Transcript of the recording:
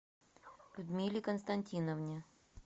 людмиле константиновне